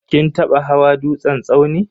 Kin taba hawa dutsen tsauni?